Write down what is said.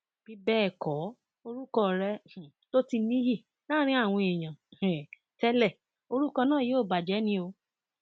bí bẹẹ kọ orúkọ rẹ um tó ti níyì láàrin àwọn èèyàn um tẹlẹ orúkọ náà yóò bàjẹ ni o